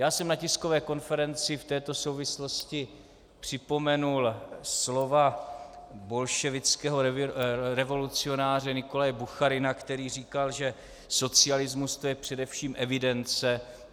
Já jsem na tiskové konferenci v této souvislosti připomenul slova bolševického revolucionáře Nikolaje Bucharina, který říkal, že socialismus, to je především evidence.